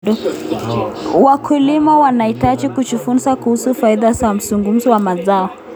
Wakulima wanahitaji kujifunza kuhusu faida za mzunguko wa mazao.